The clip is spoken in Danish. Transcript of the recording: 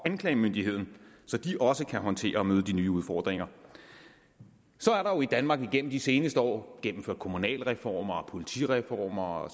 anklagemyndigheden så den også kan håndtere og møde de nye udfordringer så er der jo i danmark igennem de seneste år gennemført kommunalreform politireform og